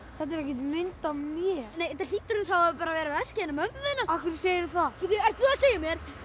þetta er ekkert mynd af mér þetta hlýtur þá að vera að vera veskið hennar mömmu þinnar af hverju segirðu það ert þú að segja mér